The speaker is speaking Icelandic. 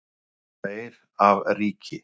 Þeir af ríki